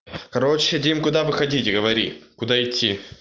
короче дим куда выходить говори куда идти